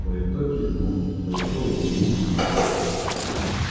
кое-кто кивнул кое-кто улыбнулся